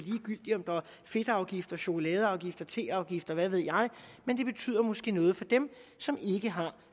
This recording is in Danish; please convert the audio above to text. fedtafgift chokoladeafgift teafgift og hvad ved jeg men det betyder måske noget for dem som ikke har